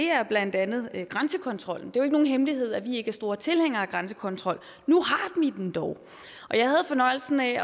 er blandt andet grænsekontrollen det er nogen hemmelighed at vi ikke er store tilhængere af grænsekontrol nu har vi den dog og jeg havde fornøjelsen af at